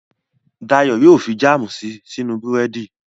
Dayọ̀ yóò fi jáàmù si sínú búrẹ́dì